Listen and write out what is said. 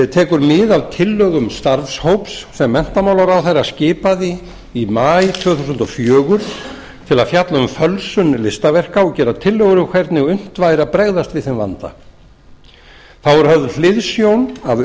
tekur mið af tillögum starfshóps sem menntamálaráðherra skipaði í maí tvö þúsund og fjögur til að fjalla um fölsun listaverka og gera tillögur um hvernig unnt væri að bregðast við þeim vanda þá er höfð hliðsjón af